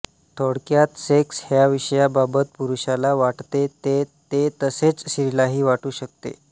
थोडक्यात सेक्स ह्या विषयाबाबत पुरुषाला वाटते ते तेतसेच स्त्रीलाही वाटू शकते